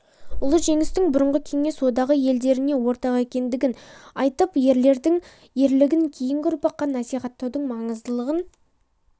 ұлы жеңістің бұрынғы кеңес одағы елдеріне ортақ екендігін айтып ерлердің ерлігін кейінгі ұрпаққа насихаттаудың маңыздылығын